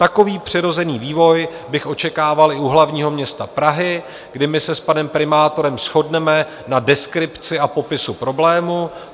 Takový přirozený vývoj bych očekával i u hlavního města Prahy, kdy my se s panem primátorem shodneme na deskripci a popisu problému.